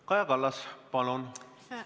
Kaja Kallas, palun!